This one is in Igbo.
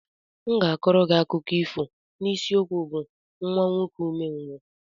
M ga-kọọrọ gị akụkọ ifo n'isiokwu bụ "Nwa nwoke umengwụ"